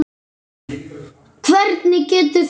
Hvernig getur þú vitað þetta?